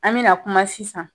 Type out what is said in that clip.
An mɛ na kuma sisan